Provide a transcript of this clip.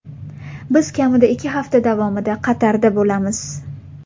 Biz kamida ikki hafta davomida Qatarda bo‘lamiz.